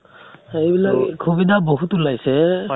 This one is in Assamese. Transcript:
এইবিলাক সুবিধা বহুত ওলাইছে